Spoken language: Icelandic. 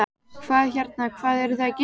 Hvað hérna, hvað eruð þið að gera?